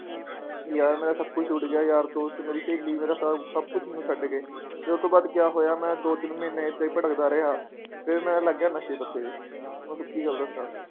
ਯਾਰ ਮੇਰਾ ਸਬ ਕੁਛ ਛੁੱਟ ਗਿਆ ਯਾਰ ਦੋਸਤ ਮੇਰੀ ਸਹੇਲੀ ਮੇਰਾ ਸਬ ਸਬ ਕੁਛ ਮੈਨੂੰ ਛੱਡ ਗਏ ਫਿਰ ਉਤੋਂ ਬਾਅਦ ਕਯਾ ਹੋਗਿਆ ਮੈ ਦੋ ਤਿੰਨ ਮਹੀਨੇ ਏਦਾਂ ਈ ਭਟਕਦਾ ਰਿਹਾ ਫਿਰ ਮੈ ਲਗ ਗਿਆ ਨਸ਼ੇ ਪੱਤੇ ਤੇ ਮੈ ਸੱਚੀ ਗੱਲ ਦੱਸਾਂ